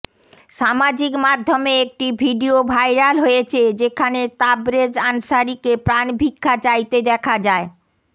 সামাজিক মাধ্যমে একটি ভিডিও ভাইরাল হয়েছে যেখানে তাবরেজ আনসারিকে প্রাণ ভিক্ষা চাইতে দেখা যায়